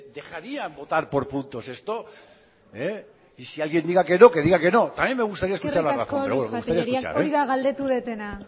dejarían votar por puntos esto y si alguien diga que no que diga que no eskerrik asko luisja tellería hori da galdetu dudana